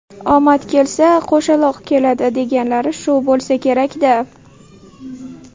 Omad kelsa, qo‘shaloq keladi deganlari shu bo‘lsa kerak-da!